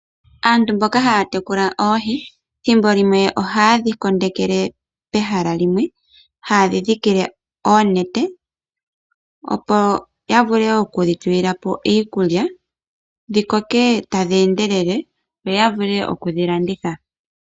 Aantu mboka haya tekula oohi thimbo limwe ohaye dhikondekele pehala limwe. Oha ye dhi dhikile oonete opo ya vule okudhitulila po iikulya dhi koke tadhi endelele yo ya vule okudhilanditha.